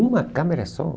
Uma câmera só.